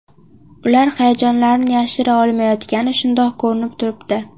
Ular hayajonlarini yashira olmayotgani shundoq ko‘rinib turibdi.